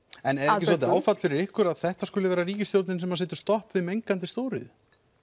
en er það ekki svolítið áfall fyrir ykkur að þetta skuli vera ríkisstjórnin sem setur stopp við mengandi stjóriðju